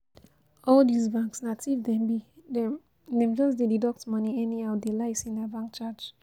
All this banks na thief dem be, dem dem just dey deduct money anyhow dey lie say na bank charge